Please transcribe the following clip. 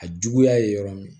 A juguya ye yɔrɔ min